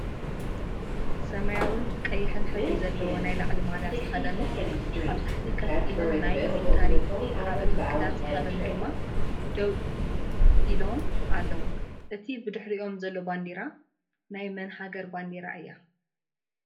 ሰማያዊን ቀይሕን ሕብሪ ዘለዎ ናይ ላዕሊ ማልያ ዝተከደኑ ኣብታሕቲ ከፍ ኢሎም ናይ ሚሊታርን ካልኣትንክዳን ዝተከደኑ ድማ ደው ዚሎም ኣለው። እታ ብድሕሪይኦም ዘላ ባንዴራ ናይ መን ሃገር ባንዴራ እያ?